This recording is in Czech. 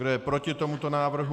Kdo je proti tomuto návrhu?